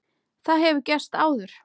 Það hefur gerst áður.